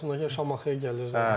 Yazmasınlar Şamaxıya gəlir.